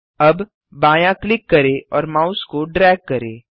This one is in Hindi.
अब बायाँ क्लिक करें और माउस को ड्रैग करें